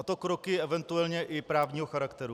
A to kroky eventuálně i právního charakteru.